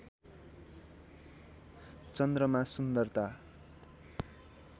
चन्द्रमा सुन्दरता